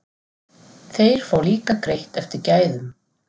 Þeir fá líka greitt eftir gæðum.